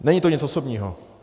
Není to nic osobního.